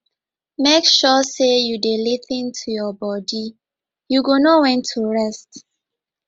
make sure sey you dey lis ten to your bodi you go know wen to rest